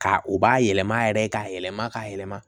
Ka u b'a yɛlɛma yɛrɛ k'a yɛlɛma k'a yɛlɛma